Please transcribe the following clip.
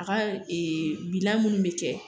A ka ee bilan munnu be kɛ